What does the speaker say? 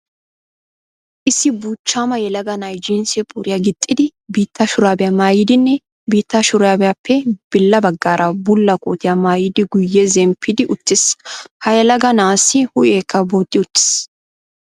Issi buuchchaama yelaga na'ay jinsse puriya gixxidi, biitta shuraabiya maayidinne biitta shuraabiyappe billa baggaara bulla kootiya maayidiguyye zemppidi uttiis. Ha yelaga na'aassi huuoheekka bo'ti uttiis.